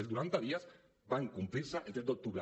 els noranta dies van complir se el tres d’octubre